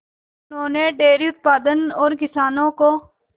उन्होंने डेयरी उत्पादन और किसानों को